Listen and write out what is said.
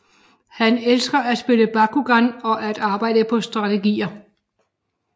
Han elsker at spille Bakugan og at arbejde på strategier